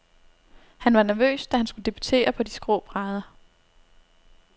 Han var nervøs, da han skulle debutere på de skrå brædder.